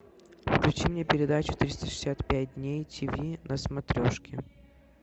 включи мне передачу триста шестьдесят пять дней тв на смотрешке